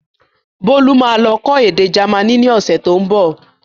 Bolu máa lọ kọ́ èdè jamaní ni ọ̀sẹ̀ tó ń bọ̀